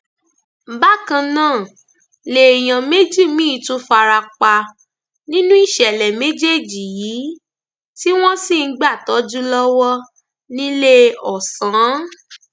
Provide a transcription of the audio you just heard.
bákan náà lèèyàn méjì míín tún fara pa nínú ìṣẹlẹ méjèèjì yìí tí wọn sì ń gbàtọjú lọwọ níléeọsán